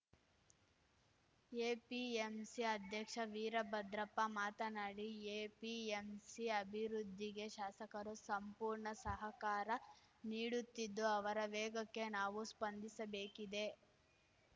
APMC ಅಧ್ಯಕ್ಷ ವೀರಭದ್ರಪ್ಪ ಮಾತನಾಡಿ APMC ಅಭಿವೃದ್ಧಿಗೆ ಶಾಸಕರು ಸಂಪೂರ್ಣ ಸಹಕಾರ ನೀಡುತ್ತಿದ್ದು ಅವರ ವೇಗಕ್ಕೆ ನಾವು ಸ್ಪಂದಿಸಬೇಕಿದೆ